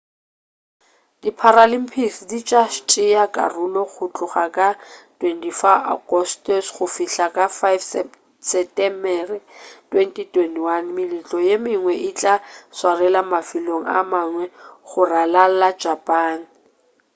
di paralympics di tša tšea karolo go tloga ka 24 agostose go fihla ka 5 setemere 2021 meletlo ye mengwe e tla tswarelwa mafelong a mangwe go ralala japan